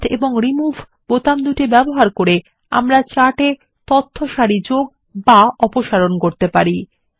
add এবং remove বোতাম ব্যবহার করে আমাদের চার্ট থেকে তথ্য সারি যোগ অথবা অপসারণ করা যেতে পারে